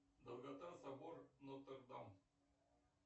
долгота собор нотр дам